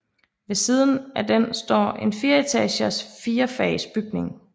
Ved siden af den står en fireetagers firefags bygning